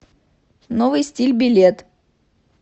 новый стиль билет